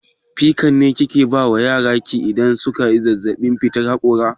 Pikan ne kike ba yaran ki idan suna zazzaɓin fitar haƙora?